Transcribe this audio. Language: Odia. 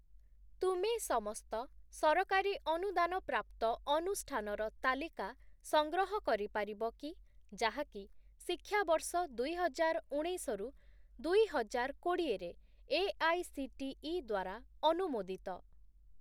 ତୁମେ ସମସ୍ତ ସରକାରୀ ଅନୁଦାନ ପ୍ରାପ୍ତ ଅନୁଷ୍ଠାନର ତାଲିକା ସଂଗ୍ରହ କରିପାରିବ କି ଯାହାକି ଶିକ୍ଷାବର୍ଷ ଦୁଇହଜାରଉଣେଇଶ ରୁ ଦୁଇହଜାରକୋଡ଼ିଏ ରେ ଏଆଇସିଟିଇ ଦ୍ୱାରା ଅନୁମୋଦିତ ?